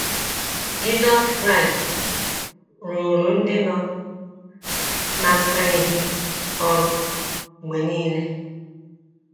JISỌS KRAỊST rụụrụ ndị nọ ná mkpa ezi ọrụ mgbe nile.